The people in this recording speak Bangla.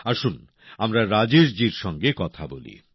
আসুন আমরা রাজেশ জির সঙ্গে কথা বলি